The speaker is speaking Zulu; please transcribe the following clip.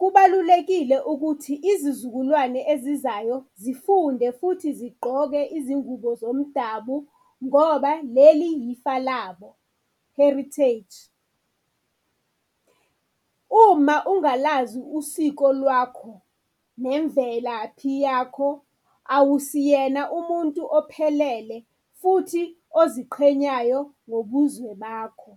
Kubalulekile ukuthi izizukulwane ezizayo zifunde futhi zigqoke izingubo zomdabu ngoba leli yifa labo, heritage. Uma ungalazi usiko lwakho nemvelaphi yakho, awusiyena umuntu ophelele futhi oziqhenyayo ngobuzwe bakho.